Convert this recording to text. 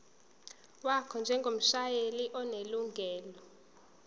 wakho njengomshayeli onelungelo